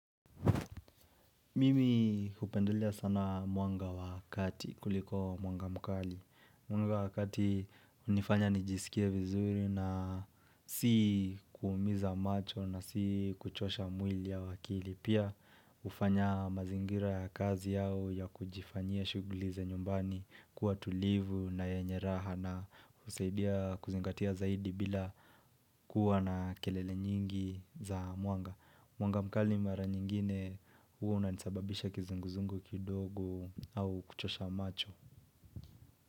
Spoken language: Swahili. Mimi hupendelea sana mwanga wa kati kuliko mwanga mkali. Mwanga wa kati hunifanya nijisikie vizuri na si kuumiza macho na si kuchosha mwili au akili. Pia hufanya mazingira ya kazi au ya kujifanyia shughuli za nyumbani kuwa tulivu na yenye raha na husaidia kuzingatia zaidi bila kuwa na kelele nyingi za mwanga. Mwanga mkali mara nyingine huwa unanisababisha kizunguzungu kidogo au kuchosha macho.